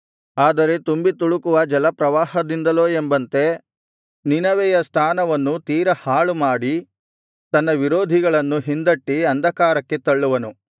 ಆದರೆ ತುಂಬಿತುಳುಕುವ ಜಲಪ್ರವಾಹದಿಂದಲೋ ಎಂಬಂತೆ ನಿನವೆಯ ಸ್ಥಾನವನ್ನು ತೀರಾ ಹಾಳುಮಾಡಿ ತನ್ನ ವಿರೋಧಿಗಳನ್ನು ಹಿಂದಟ್ಟಿ ಅಂಧಕಾರಕ್ಕೆ ತಳ್ಳುವನು